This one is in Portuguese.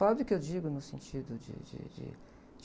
Pobre que eu digo no sentido de, de, de...